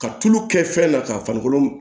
Ka tulu kɛ fɛn na ka farikolo